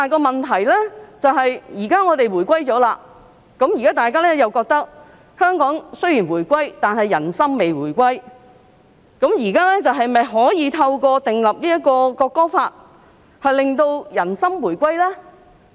現在香港已經回歸中國，但有人覺得人心並未回歸，問題是現在是否可以透過訂立《條例草案》而令人心回歸呢？